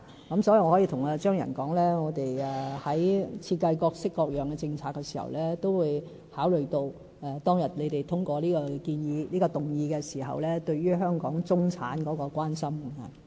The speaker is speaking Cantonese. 因此，我可以向張宇人議員說，我們在設計各式各樣的政策時，都會考慮當日你們通過這個議案時對於香港中產的關心。